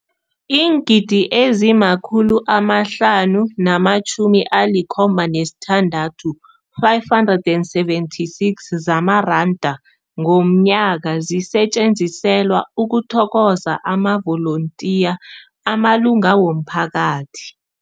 Iingidi ezima-576 zamaranda ngomnyaka zisetjenziselwa ukuthokoza amavolontiya amalunga womphakathi.